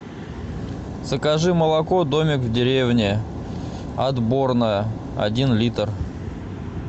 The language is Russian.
закажи молоко домик в деревне отборное один литр